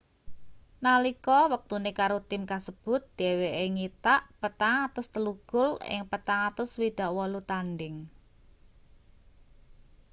nalika wektune karo tim kasebut dheweke nyitak 403 gol ing 468 tandhing